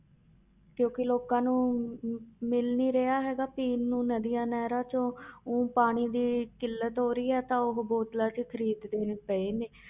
ਕਿਉਂਕਿ ਲੋਕਾਂ ਨੂੰ ਮਿਲ ਨੀ ਰਿਹਾ ਹੈਗਾ ਪੀਣ ਨੂੰ ਨਦੀਆਂ ਨਹਿਰਾਂ ਚੋਂ ਊਂ ਪਾਣੀ ਦੀ ਕਿੱਲਤ ਹੋ ਰਹੀ ਹੈ ਤਾਂ ਉਹ ਬੋਤਲਾਂ ਹੀ ਖ਼ਰੀਦਦੇ ਪਏ ਨੇ